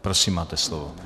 Prosím, máte slovo.